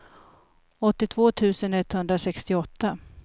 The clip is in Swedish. åttiotvå tusen etthundrasextioåtta